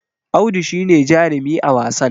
Audu shi ne jarumi a wasan